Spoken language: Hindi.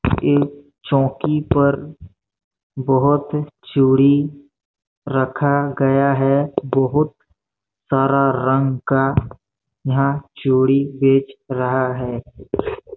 एक चौकी पर बहोत चूड़ी रखा गया है बहुत सारा रंग का यहाँ चूड़ी बेच रहा है।